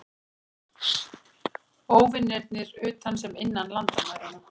Óvinirnir utan sem innan landamæranna.